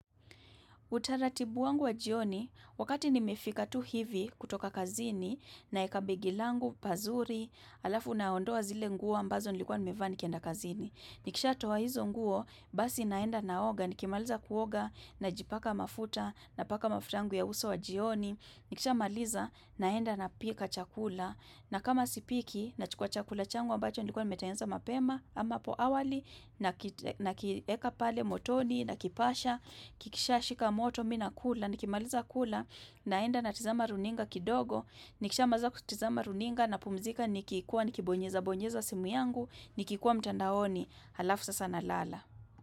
Utaratibu wangu wa jioni wakati nimefika tu hivi kutoka kazini naweka begi langu pazuri alafu na ondoa zile nguo ambazo nilikuwa nimevaa nikienda kazini. Nikisha toa hizo nguo basi naenda naoga nikimaliza kuoga najipaka mafuta na paka mafuta yangu ya uso wa jioni. Nikishamaliza naenda napika chakula na kama sipiki nachukua chakula changu ambacho nilikuwa nimetengeneza mapema ama hapo awali nakite nakieka pale motoni na kipasha. Kikisha shika moto mimi nakula, nikimaliza kula naenda natizama runinga kidogo nikishamaliza kutizama runinga napumzika nikikuwa nikibonyeza bonyeza simu yangu nikikuwa mtandaoni, alafu sasa nalala.